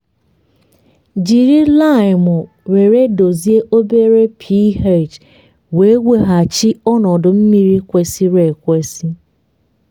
jiri laịmụ were dozie obere ph wee weghachi ọnọdụ mmiri kwesịrị ekwesị.